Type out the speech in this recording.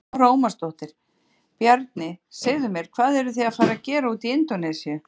Lára Ómarsdóttir: Bjarni, segðu mér, hvað eru þið að fara að gera úti í Indónesíu?